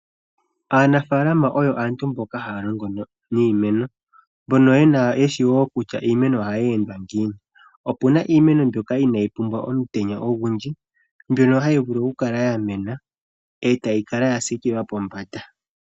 Aanafaalama oyo aantu mboka haya longo niimeno. Mbono yena ontseyo kutya iimeno ohayi endwa ngiini. Opuna iimeno mbyoka inaayi pumbwa omutenya ogundji mbyono hayi vulu oku kala ya mena etayi Kala ya siikilwa pombanda.